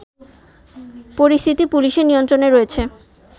পরিস্থিতি পুলিশের নিয়ন্ত্রণে রয়েছে